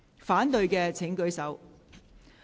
反對的請舉手。